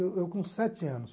Eu eu com sete anos.